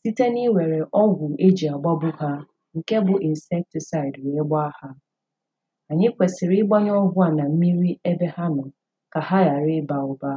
site n'iwere ọgwụ e ji agbagbu ha nke bụ insecticide wee gbaa ha Anyi kwesịrị ịgbanye ọgwụ a na mmiri ebe ha nọ ka ha gharị ịba ụba